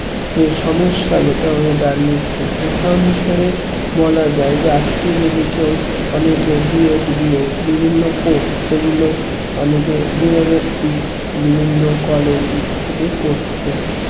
যে সমস্যা যেটা হয়ে দাঁড়িয়েছে উদাহরণ হিসেবে বলা যায় যে আজকে যদি কেউ অনেকেই DEDBED বিভিন্ন course যে গুলো অনেকে দূরবর্তী বিভিন্ন college এ থেকে করছে